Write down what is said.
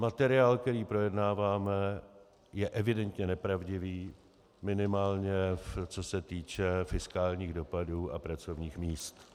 Materiál, který projednáváme, je evidentně nepravdivý, minimálně co se týče fiskálních dopadů a pracovních míst.